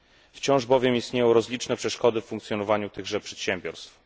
Wciąż bowiem istnieją rozliczne przeszkody w funkcjonowaniu tychże przedsiębiorstw.